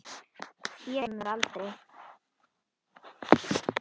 Þér gleymum við aldrei.